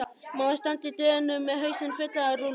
Mamma stendur í dyrunum með hausinn fullan af rúllum.